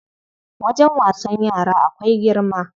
Wajen wasan yara akwai girma.